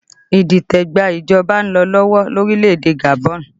Idite gba ìjọba ń lọ lọ́wọ́ ní orílẹ̀ èdè Gabon